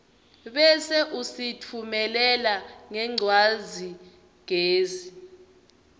bese usitfumelela ngencwadzigezi